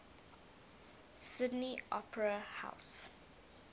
sydney opera house